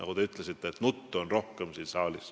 Teie ütlesite, et siin saalis on rohkem nuttu.